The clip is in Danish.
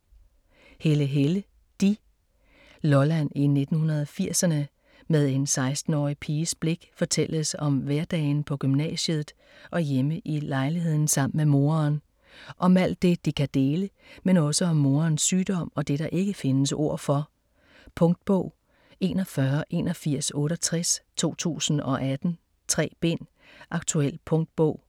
Helle, Helle: de Lolland i 1980'erne, med en 16-årig piges blik fortælles om hverdagen på gymnasiet og hjemme i lejligheden sammen med moren. Om alt det de kan dele, men også om morens sygdom og det, der ikke findes ord for. Punktbog 418168 2018. 3 bind. Aktuel punktbog.